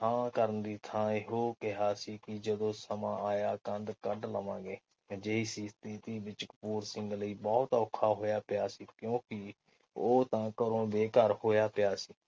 ਹਾਂ ਕਰਨ ਦੀ ਥਾਂ ਇਹੋ ਕਿਹਾਕਿ ਜਦੋ ਸਮਾਂ ਆਇਆ ਕੰਧ ਕੱਢ ਲ ਵਾਂਗੇ ਅਜਿਹੀ ਸਥਿਤੀ ਵਿਚ ਬਹੁਤ ਔਖਾ ਹੋਇਆ ਪਿਆ ਸੀ।